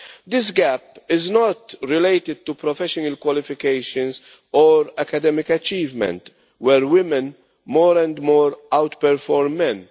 This gap is not related to professional qualifications or academic achievement, where women more and more out perform men.